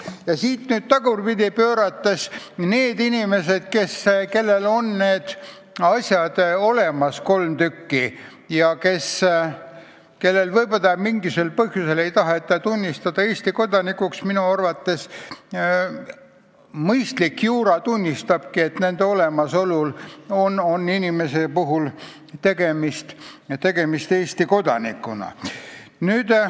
Ja seda tagurpidi pöörates: kui inimesel on need kolm asja olemas, aga teda võib-olla mingisugusel põhjusel ei taheta tunnistada Eesti kodanikuks, siis minu arvates mõistlik juura tunnistab, et tegemist on Eesti kodanikuga.